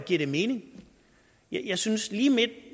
giver det mening jeg synes at lige